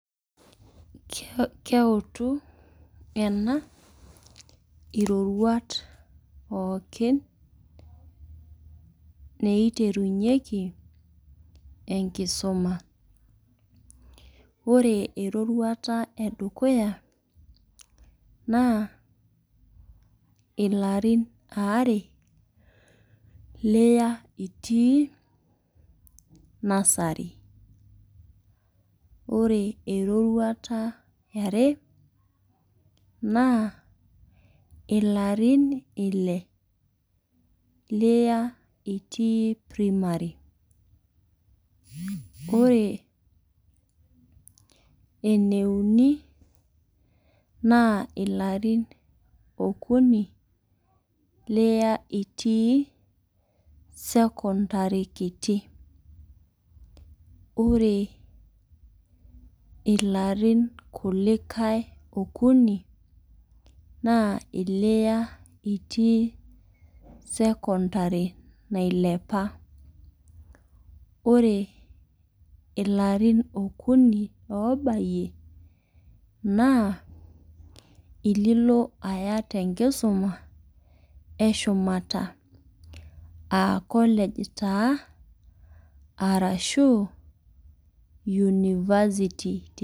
Keutu ena iriruat pookin neiterunyeki enkisuma. Ore eroruata edukuya naa ilarin are liya itii nursery. Ore eroruata eare naa ilarin ile liya itii primary. Ore ene uni naa ilarin okuni liya itii secondary kiti. Ore ilarin kulikae okuni na iliya itii secondary nailepa. Ore ilarin okuni obayie naa ililo aya te nkisuna eshumata aa college taa arashu university.